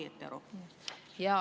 Saan ma õigesti aru?